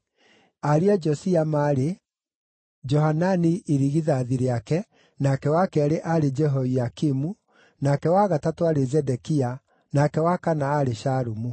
Ariũ a Josia maarĩ: Johanani irigithathi rĩake, nake wa keerĩ aarĩ Jehoiakimu, nake wa gatatũ aarĩ Zedekia, nake wa kana aarĩ Shalumu.